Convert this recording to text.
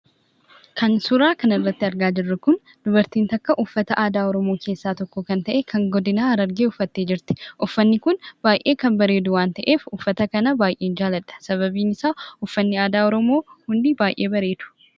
Kan suuraa kanarratti argaa jirru kun dubartiin tokko uffata aadaa oromoo keessaa tokko kan ta'e kan godina harargee uffattee jirti. Uffanni kun baay'ee kan bareedu waan ta'eef uffata kan baay'een jaalladha sababiinsaa uffanni aadaa oromoo hundisaa baay'ee bareedu.